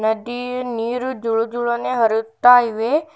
ನದಿ ನೀರು ಜುಳು ಜುಳನೇ ಹರಿಯುತ್ತಾ ಇವೆ.